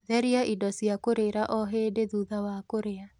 Theria indo cia kũrĩra o hĩndĩ thutha wa kũrĩa